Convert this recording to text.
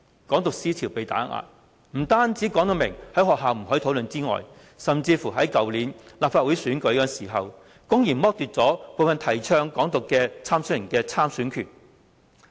"港獨"思潮被打壓，不但明言在學校不可以討論，甚至在去年的立法會選舉時，公然剝奪部分曾提倡"港獨"的參選人的參選權。